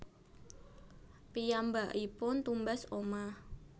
Piyambakipun tumbas omah